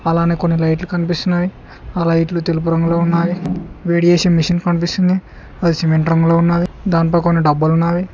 అలానే కొన్ని లైట్లు కనిపిస్తున్నావి ఆ లైట్లు తెలుపు రంగులో ఉన్నాయి వేడి చేసే మెషిన్ కనిపిస్తుంది అది సిమెంట్ రంగులో ఉన్నది దాంట్లో కొన్ని డబ్బాలున్నవి.